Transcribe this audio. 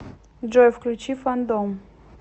джой включи фандом